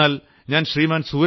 എന്നാൽ ശ്രീമാൻ